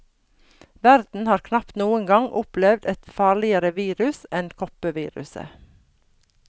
Verden har knapt noen gang opplevd et farligere virus enn kopperviruset.